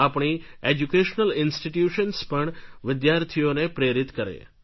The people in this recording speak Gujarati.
આપણી એજ્યુકેશનલ ઇન્સ્ટીટ્યૂશન્સ પણ વિદ્યાર્થીઓને પ્રેરિત કરે